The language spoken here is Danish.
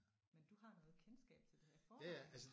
Men du har noget kendskab til det her i forvejen?